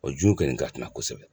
jun kɔni ka kunan kosɛbɛ.